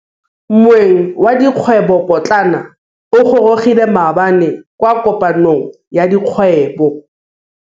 Moêng wa dikgwêbô pôtlana o gorogile maabane kwa kopanong ya dikgwêbô.